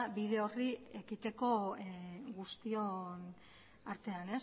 bide horri ekiteko guztion artean